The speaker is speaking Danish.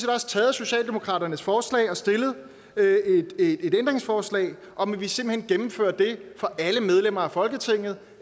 også taget socialdemokratiets forslag og stillet et ændringsforslag om at vi simpelt hen gennemfører det for alle medlemmer af folketinget